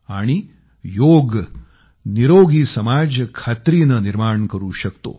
आणि योग स्वस्थ समाज खात्रीनं निर्माण करू शकतो